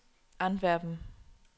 Antwerpen